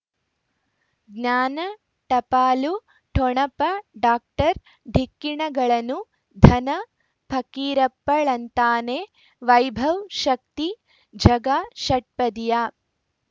ಜ್ಞಾನ ಟಪಾಲು ಠೊಣಪ ಡಾಕ್ಟರ್ ಢಿಕ್ಕಿ ಣಗಳನು ಧನ ಫಕೀರಪ್ಪ ಳಂತಾನೆ ವೈಭವ್ ಶಕ್ತಿ ಝಗಾ ಷಟ್ಪದಿಯ